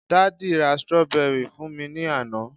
daddy ra strawberry fún mi ni Ana